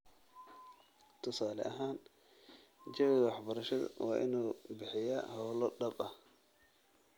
Tusaale ahaan, jawiga waxbarashadu waa inuu bixiyaa hawlo dhab ah